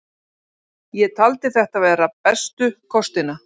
Ég taldi þetta vera bestu kostina.